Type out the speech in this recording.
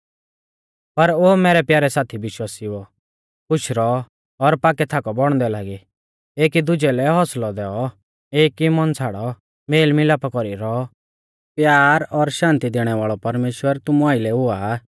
पर ओ मैरै प्यारै साथी विश्वासिउओ खुश रौऔ और पाकै थाकौ बौणदै लागी एकी दुजै लै हौसलौ दैऔ एक ई मन छ़ाड़ौ मेल मिलापा कौरी रौऔ प्यार और शान्ति दैणै वाल़ौ परमेश्‍वर तुमु आइलै हुआ